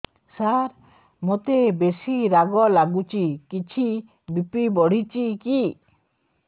ସାର ମୋତେ ବେସି ରାଗ ଲାଗୁଚି କିଛି ବି.ପି ବଢ଼ିଚି କି